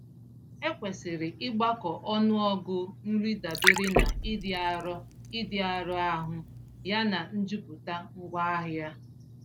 Ekwesịrị ịgbakọ ọnụọgụ nri dabere na ịdị arọ ịdị arọ ahụ yana njupụta ngwaahịa.